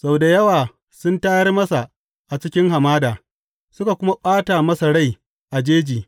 Sau da yawa sun tayar masa a cikin hamada suka kuma ɓata masa rai a jeji!